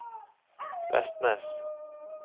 Vestnes